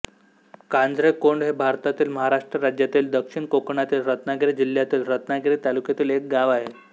काजरेकोंड हे भारतातील महाराष्ट्र राज्यातील दक्षिण कोकणातील रत्नागिरी जिल्ह्यातील रत्नागिरी तालुक्यातील एक गाव आहे